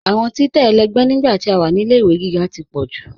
Awọn títẹ̀ ẹlẹgbẹ̀ nígbà tí a wá ní ilẹ̀-ìwé gígá tó pọ̀ jù.